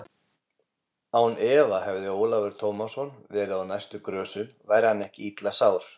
Án efa hefði Ólafur Tómasson verið á næstu grösum væri hann ekki illa sár.